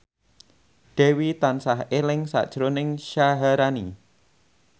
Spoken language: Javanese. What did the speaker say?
Dewi tansah eling sakjroning Syaharani